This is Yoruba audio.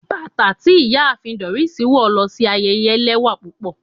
Batà ti Iyaafin Doris wọ lo si ayẹyẹ lẹwa pupọ